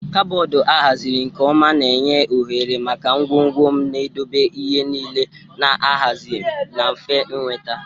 Kaboodu a haziri nke ọma na-enye ohere maka ngwongwo m, na-edobe ihe niile na-ahazi na mfe ịnweta.